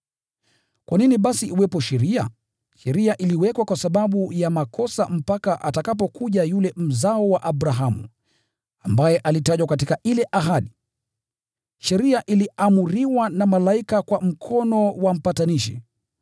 Kwa nini basi iwepo sheria? Sheria iliwekwa kwa sababu ya makosa mpaka atakapokuja yule Mzao wa Abrahamu, ambaye alitajwa katika ile ahadi. Sheria iliamriwa na malaika kwa mkono wa mpatanishi.